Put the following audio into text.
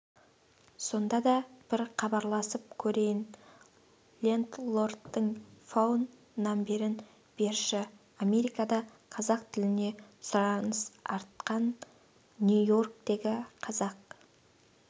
сонда да бір хабарласып көрейін лендлордтың фоун намберін берші америкада қазақ тіліне сұраныс артқан нью-йорктегі қазақ